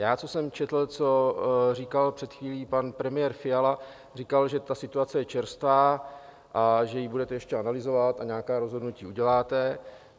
Já, co jsem četl, co říkal před chvílí pan premiér Fiala, říkal, že ta situace je čerstvá a že ji budete ještě analyzovat a nějaká rozhodnutí uděláte.